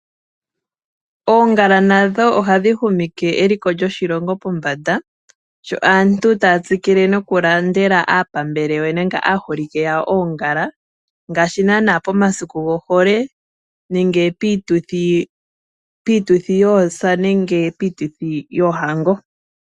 Oongala nadho ohadhi humitha eliko lyoshilongo pombanda, sho aantu taya tsikile nokulandela aapambele nenge aaholike yawo oongala ngaashi naanaa pomasiku gohole nenge piituthi yoosa nenge piituthi yohango.